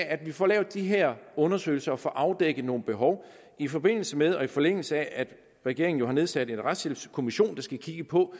at vi får lavet de her undersøgelser og får afdækket nogle behov i forbindelse med og i forlængelse af at regeringen jo har nedsat en retshjælpskommission der skal kigge på